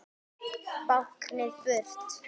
Báknið burt?